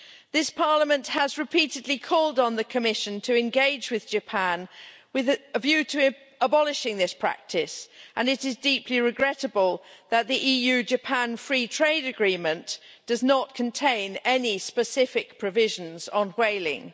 This Parliament has repeatedly called on the Commission to engage with Japan with a view to abolishing this practice, and it is deeply regrettable that the EU Japan free trade agreement does not contain any specific provisions on whaling.